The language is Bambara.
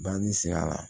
Banani sira la